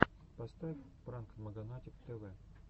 поставь пранк маганатик тв